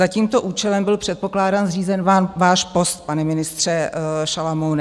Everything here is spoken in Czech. Za tímto účelem byl, předpokládám, zřízen váš post, pane ministře Šalomoune.